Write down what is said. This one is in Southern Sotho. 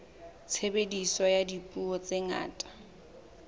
tshebediso ya dipuo tse ngata